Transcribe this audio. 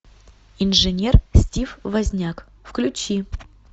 инженер стив возняк включи